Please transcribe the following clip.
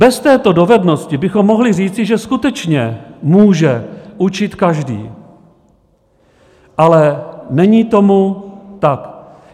Bez této dovednosti bychom mohli říci, že skutečně může učit každý, ale není tomu tak.